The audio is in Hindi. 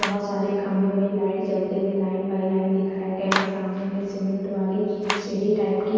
बहुत सारे खंबे मे लाइट जलते हुए लाइन बाय लाइन दिखाई गये है सामने मे सीमेंट वाली सीढ़ी टाइप की--